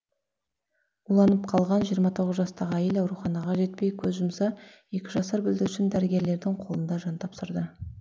уланып қалған жиырма тоғыз жастағы әйел ауруханаға жетпей көз жұмса екі жасар бүлдіршін дәрігерлердің қолында жан тапсырды